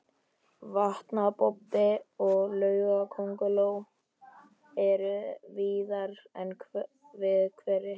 Vatnabobbi og laugakönguló eru víðar en við hveri.